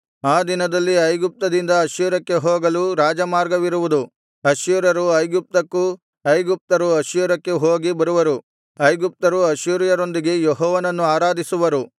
ಆ ದಿನದಲ್ಲಿ ಐಗುಪ್ತದಿಂದ ಅಶ್ಶೂರಕ್ಕೆ ಹೋಗಲು ರಾಜಮಾರ್ಗವಿರುವುದು ಅಶ್ಶೂರ್ಯರು ಐಗುಪ್ತಕ್ಕೂ ಐಗುಪ್ತರು ಅಶ್ಶೂರಕ್ಕೂ ಹೋಗಿ ಬರುವರು ಐಗುಪ್ತರು ಅಶ್ಶೂರ್ಯರೊಂದಿಗೆ ಯೆಹೋವನನ್ನು ಆರಾಧಿಸುವರು